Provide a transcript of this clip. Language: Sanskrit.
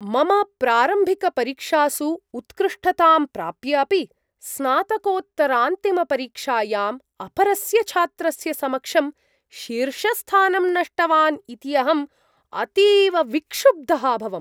मम प्रारम्भिकपरीक्षासु उत्कृष्टतां प्राप्य अपि, स्नातकोत्तरान्तिमपरीक्षायाम् अपरस्य छात्रस्य समक्षं शीर्षस्थानं नष्टवान् इति अहम् अतीव विक्षुब्धः अभवम्।